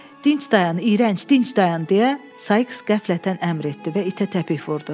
Dinc dayan, iyrənc, dinc dayan deyə Saiks qəflətən əmr etdi və itə təpik vurdu.